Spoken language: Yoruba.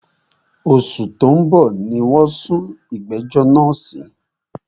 Òṣù tí o ń bọ̀ ní wọ́n sún ìgbẹ̀jọ́ náà sí.